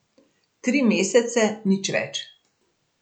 Tri mesece, nič več.